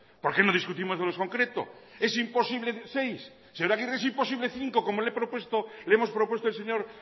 por qué no discutimos de lo concreto es imposible seis señor agirre es imposible cinco como le hemos propuesto el señor